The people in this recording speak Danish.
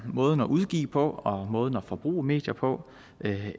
måden at udgive på og måden at forbruge medier på